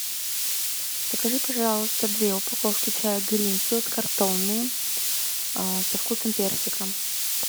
закажи пожалуйста две упаковки чая гринфилд картонные со вкусом персика